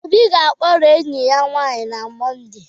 Obi ga-akpọrọ enyi ya nwanyị na Mọnde